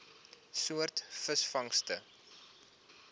soort visvangste